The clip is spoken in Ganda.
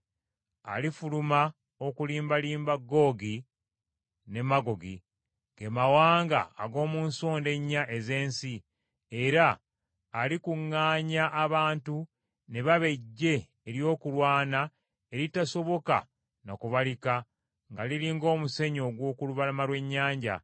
Alifuluma okulimbalimba Googi ne Magoogi, ge mawanga ag’omu nsonda ennya ez’ensi, era alikuŋŋaanya abantu ne baba eggye ery’okulwana eritasoboka na kubalika nga liri ng’omusenyu ogw’oku lubalama lw’ennyanja.